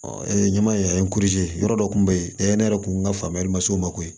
ɲɛma in a yɔrɔ dɔ kun bɛ yen ne yɛrɛ kun ka faamuyali ma s'o ma koyi